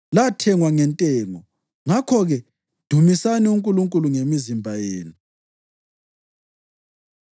lathengwa ngentengo. Ngakho-ke, dumisani uNkulunkulu ngemizimba yenu.